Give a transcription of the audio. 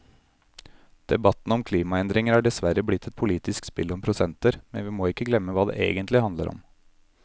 Debatten om klimaendringer er dessverre blitt et politisk spill om prosenter, men vi må ikke glemme hva det egentlig handler om.